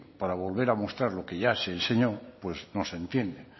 para volver a mostrar lo que ya enseñó pues no se entiende